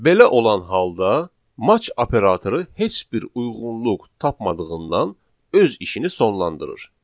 Belə olan halda match operatoru heç bir uyğunluq tapmadığından öz işini sonlandırır.